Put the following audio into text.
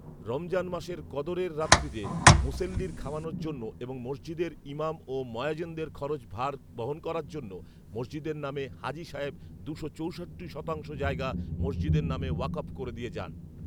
রমজান মাসের কদরের রাত্রিতে মুসেল্লির খাওয়ানোর জন্য এবং মসজিদের ইমাম ও ময়াজিনদের খরচ ভার বহন করার জন্য মসজিদের নামে হাজী সাহেব দুশো চৌষট্টি শতাংশ জায়গা মসজিদের নামে ওয়াকব করে দিয়ে যান